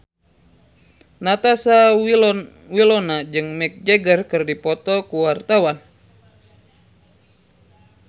Natasha Wilona jeung Mick Jagger keur dipoto ku wartawan